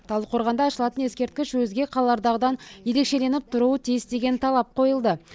талдықорғанда ашылатын ескерткіш өзге қалалардағыдан ерекшеленіп тұруы тиіс деген талап қойылды